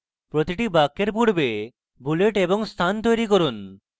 প্রতিটি বাক্যের পূর্বে bullets এবং স্থান তৈরী করুন